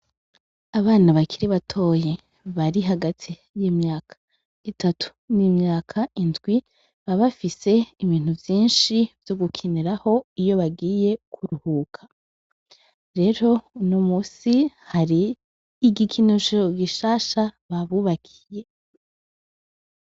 Abana bakiri batoyi bari hagati y'imyaka itatu n'imyaka indwi, baba babafise ibintu vyinshi vyo gukiniraho iyo bagiye kuruhuka. Rero uno munsi hari igikinusho gishasha babubakiye.